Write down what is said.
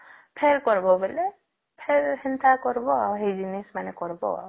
ଫେର କରିବା ବୋଲେ ଫେର ସେନ୍ତା କରିବା ସେଇ ଜିନିଷ ମାନ କରିବା ଆଉ